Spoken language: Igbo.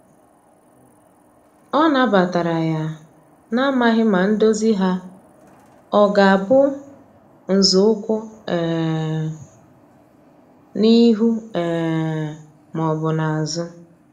Ọ na batara ya, na amaghi ma ndozi ha ọga bụ nzọụkwụ um n'ihu um ma ọbụ n'azu